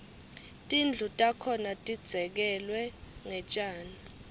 tindlu takhona tidzekelwe ngetjani